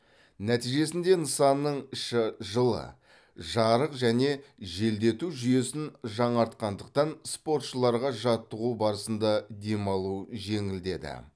нәтижесінде нысанның іші жылы жарық және желдету жүйесін жаңартқандықтан спортшыларға жаттығу барысында демалу жеңілдеді